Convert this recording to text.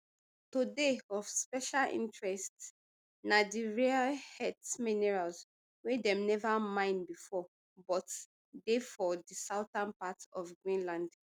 today of special interest na di rare earth minerals wey dem neva mine bifor but dey for di southern part of greenland